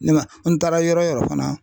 Ne man n taara yɔrɔ yɔrɔ fana